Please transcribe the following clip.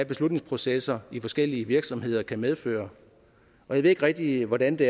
beslutningsprocesser i forskellige virksomheder kan medføre jeg ved ikke rigtig hvordan det